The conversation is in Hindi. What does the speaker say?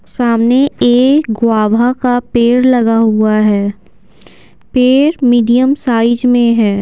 सामने एक ग्वाभा का पेड़ लगा हुआ है पेड़ मीडियम साइज मे है।